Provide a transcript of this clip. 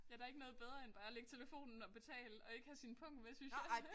Ja der ikke noget bedre end bare at lægge telefonen og betale og ikke have sin pung med synes jeg